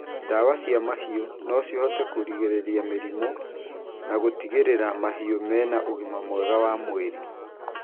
Ndawa cia mahiũ no citeithie kũgirĩrĩria mĩrimũ na gũtigĩrĩra mahiũ mena ũgima mwega wa mwĩrĩ.